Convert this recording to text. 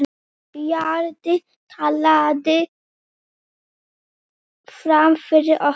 Bjarni taldi fram fyrir okkur.